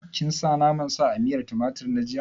Kin sa naman sa a miyan tumatir na jiya?